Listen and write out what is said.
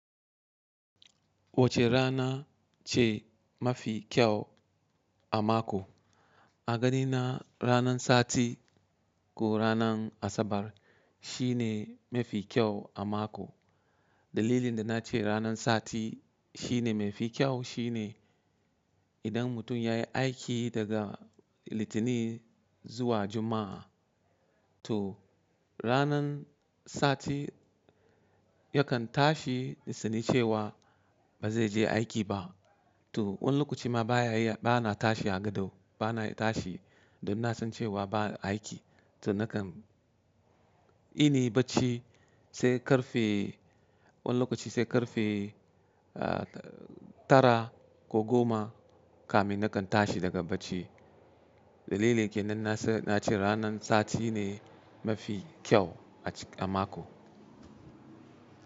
Wacce rana ce mafi kyau a mako? A ganina ranan sati ko ranan Asabar shine mafi kyau a mako. Dalilin da na ce ranan sati shine mafi kyau shine idan mutum ya yi aiki daga Litinin zuwa Juma'a, to ranan sati yakan tashi da sannu cewa ba zai je aiki ba. To, wani lokaci ma ba na tashi a gado, ba na tashi da na san cewa ba aiki. To na kan ini bacci sai ƙarfe wani lokaci sai ƙarfe tara ko goma kamin na kan tashi daga bacci. Dalili kenan na ce ranan sati ne mafi kyau a mako.